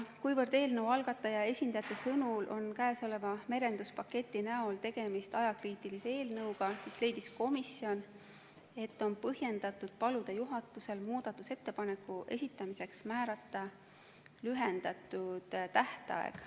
Kuna eelnõu algataja esindajate sõnul on käesoleva merenduspaketi näol tegemist ajakriitilise eelnõuga, siis leidis komisjon, et on põhjendatud paluda juhatusel muudatusettepanekute esitamiseks määrata lühendatud tähtaeg.